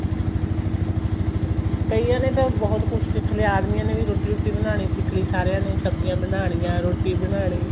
ਕਈਆਂ ਨੇ ਤਾਂ ਬਹੁਤ ਕੁੱਛ ਸਿਖ ਲਿਆ ਆਦਮੀਆਂ ਨੇ ਰੋਟੀ ਰੁਟੀ ਬਣਾਲੀ ਸਿਖ ਲਈ ਸਾਰਿਆਂ ਨੇ ਸਬਜੀਆਂ ਬਣਾ ਲਿਆ ਰੋਟੀ ਬਣਾਣੀ